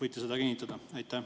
Kas võite kinnitada?